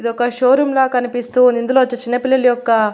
ఇది ఒక showroom లా కనిపిస్తూ ఉంది ఇందులో వచ్చి చిన్న పిల్లలు యొక్క--